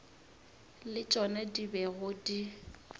le tšona di bego di